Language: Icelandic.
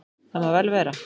Það má vel vera.